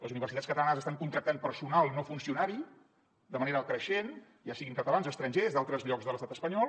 les universitats catalanes estan contractant personal no funcionari de manera creixent ja siguin catalans estrangers d’altres llocs de l’estat espanyol